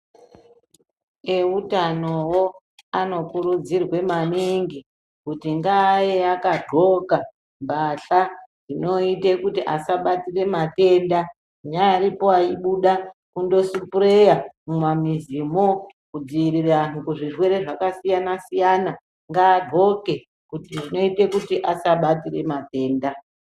Eutanowo anokurudzirwa maningi kuti ngave akapfeka patya dzinoita kuti vasabatira matenda naivapo aibuda kundosipureya mimamuzi mo kudziiriraanhu anoita kuti asabata zvirwere kuti asabatira matenda.